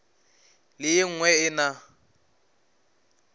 le e nngwe e na